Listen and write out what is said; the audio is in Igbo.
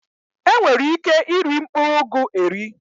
E nwere ike i ri mkpụrụ ụgụ eri.